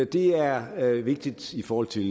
det er er vigtigt i forhold til